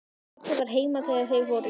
Pabbi var heima þegar þeir fóru.